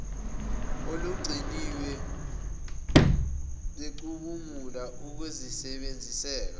olugciniwe becubungula ukusebenziseka